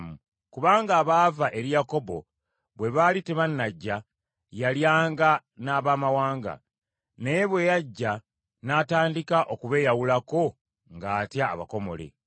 Kubanga abaava eri Yakobo bwe baali tebannajja, yalyanga n’Abamawanga, naye bwe bajja n’atandika okubeeyawulako ng’atya abakomole.